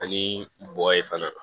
Ani bɔgɔ ye fana